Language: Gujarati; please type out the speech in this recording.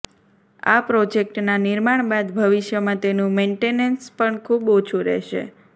આ પ્રોજેક્ટના નિર્માણ બાદ ભવિષ્યમાં તેનું મેન્ટેનન્સ પણ ખુબ ઓછુ રહેશે